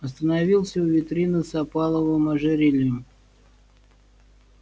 остановился у витрины с опаловым ожерельем